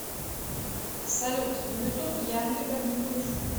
салют на ютуб янго верни бывшую